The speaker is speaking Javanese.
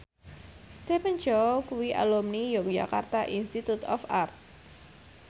Stephen Chow kuwi alumni Yogyakarta Institute of Art